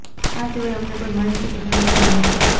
આ સિવાય અમને કોઈ માહિતી કે જાણકારી નથી